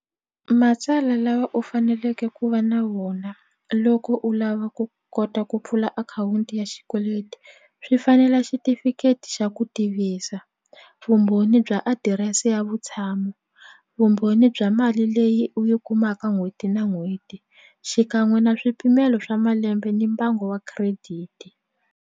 Matsala lawa u faneleke ku va na vona loko u lava ku kota ku pfula akhawunti ya xikweleti swi fanela xitifiketi xa ku tivisa vumbhoni bya adirese ya vutshamo vumbhoni bya mali leyi u yi kumaka n'hweti na n'hweti xikan'we na swipimelo swa malembe ni mbango wa credit.